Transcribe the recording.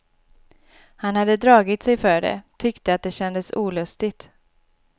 Han hade dragit sig för det, tyckte att det kändes olustigt.